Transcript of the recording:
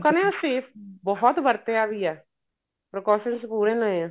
ਨੇ ਨਾ safe ਬਹੁਤ ਵਰਤਿਆ ਵੀ ਏ precaution ਪੂਰੇ ਲਏ ਏ